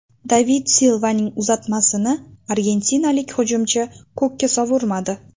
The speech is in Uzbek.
David Silvaning uzatmasini argentinalik hujumchi ko‘kka sovurmadi.